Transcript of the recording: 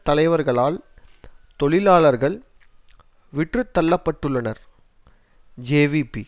தலைவர்களால் தொழிலாளர்கள் விற்றுத்தள்ளப்பட்டுள்ளனர் ஜேவிபி